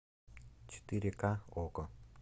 четыре ка окко